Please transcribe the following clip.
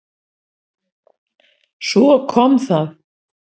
Svo kom það!